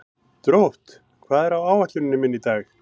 Drótt, hvað er á áætluninni minni í dag?